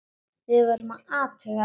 Við vorum að athuga það.